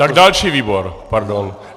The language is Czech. Tak další výbor, pardon.